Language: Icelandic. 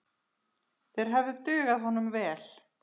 Þeir hefðu dugað honum vel.